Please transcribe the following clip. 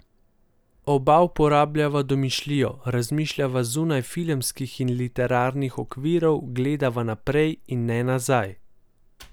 Oba uporabljava domišljijo, razmišljava zunaj filmskih in literarnih okvirov, gledava naprej in ne nazaj.